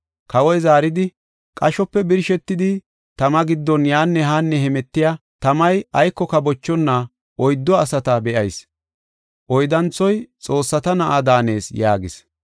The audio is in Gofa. Kawoy zaaridi, “Qashope birshetidi, tama giddon yaanne haanne hemetiya, tamay aykoka bochonna oyddu asata be7ayis; oyddanthoy xoossata na7a daanees” yaagis.